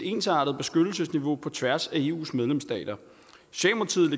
ensartet beskyttelsesniveau på tværs af eus medlemsstater